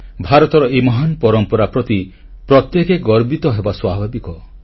ଭାରତର ଏହି ମହାନ ପରମ୍ପରା ପ୍ରତି ପ୍ରତ୍ୟେକେ ଗର୍ବିତ ହେବା ସ୍ୱାଭାବିକ